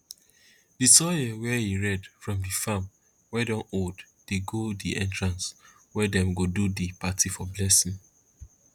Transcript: di soil wey e red from di farm wey don old dey go di entrance wey dem go do di party for blessing